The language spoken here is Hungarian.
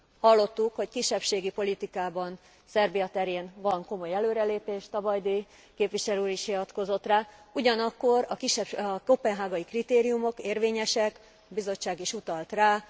Hallottuk, hogy kisebbségi politikában Szerbia terén van komoly előrelépés, Tabajdi képviselő úr is hivatkozott rá, ugyanakkor a koppenhágai kritériumok érvényesek a Bizottság is utalt rá.